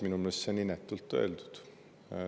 Minu meelest oli see inetult öeldud.